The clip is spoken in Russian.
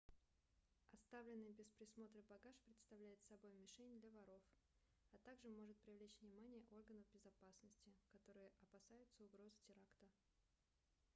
оставленный без присмотра багаж представляет собой мишень для воров а также может привлечь внимание органов безопасности которые опасаются угрозы теракта